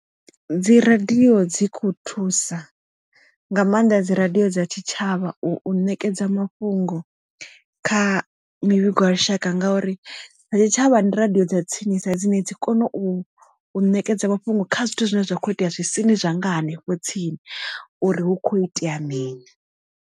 Dzi radio dzi kho thusa nga maanḓa dzi radio dza tshitshavha u nekedza mafhungo kha mivhigo ya lushaka ngauri ri tshi tshavha ndi radio dza tsinisa dzine dzi kona u nekedza mafhungo kha zwithu zwine zwa kho itea zwisini zwa nga hanefho tsini uri hu kho itea mini.